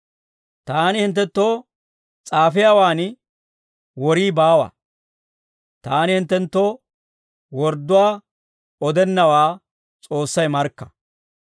Taani hinttenttoo s'aafiyaawaan worii baawa; taani hinttenttoo wordduwaa odennawaa S'oossay markka!